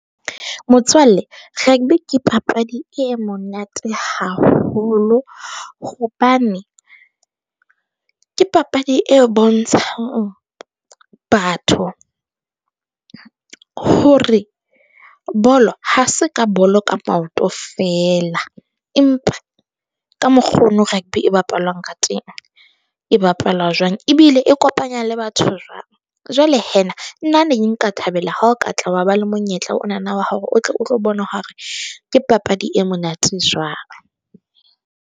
Motswalle rugby ke papadi e monate haholo, hobane ke papadi e bontshang batho hore bolo ha se ka bolo ka maoto fela. Empa ka mokgo o no rugby e bapalwang ka teng e bapalwa jwang. Ebile e kopanya le batho jwang. Jwale nna ne nka thabela ha o ka tla wa ba le monyetla, o na na wa hore o tle o tlo bona hore ke papadi e monate jwang.